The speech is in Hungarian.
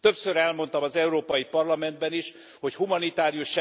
Többször elmondtam az Európai Parlamentben is, hogy humanitárius